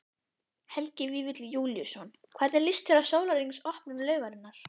Helgi Vífill Júlíusson: Hvernig líst þér á sólarhrings opnun laugarinnar?